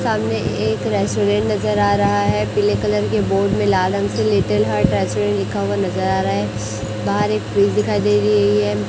सामने एक रेस्टोरेंट नज़र आ रहा है पीले कलर के बोर्ड पे लाल रंग से लिटिल हर्ट रेस्टोरेंट लिखा हुआ नज़र आ रहा है बाहर एक फ्रीज दिखाई दे रही है।